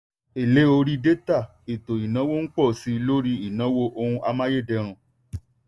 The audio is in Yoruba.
èlé orí détà ètò ìnáwó n pọ̀ sí i lórí ìnáwó ohun amáyédẹrùn.